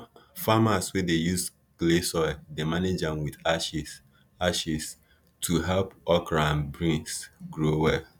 farmers wey dey use clay soil dey manage am with ashes ashes to help okra and beans grow well